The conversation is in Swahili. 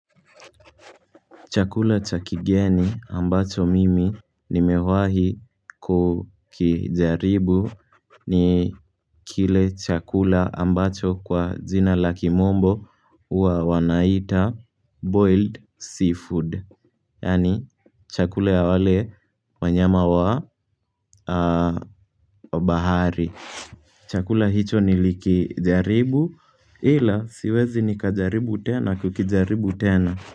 Chakula cha kigeni ambacho mimi nimewahi kukijaribu ni kile chakula ambacho kwa jina la kimombo huwa wanaita 'boiled seafood.' Yaani chakula ya wale wanyama wa bahari. Chakula hicho nilikijaribu ila siwezi nikajaribu tena kukijaribu tena.